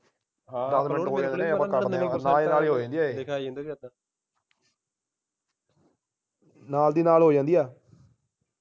ਨਾਲ ਦੀ ਨਾਲ ਹੋ ਜਾਂਦੀ ਆ